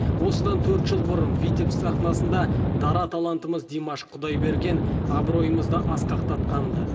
осыдан төрт жыл бұрын витебск сахнасында дара талантымыз димаш құдайберген абыройымызды асқақтатқан ды